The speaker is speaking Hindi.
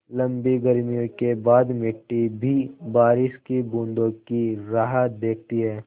लम्बी गर्मियों के बाद मिट्टी भी बारिश की बूँदों की राह देखती है